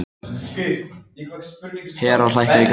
Hera, hækkaðu í græjunum.